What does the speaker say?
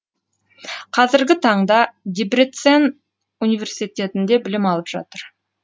қазіргі таңда дебрецен университетінде білім алып жатыр